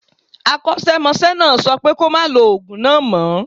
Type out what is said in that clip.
Akọ́ṣẹ́mọṣẹ́ náà sọ fún pé kó máa lo ògùn náà mo